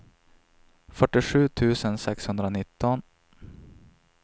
fyrtiosju tusen sexhundranitton